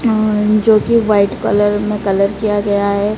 अं जोकि white colour में colour किया गया है।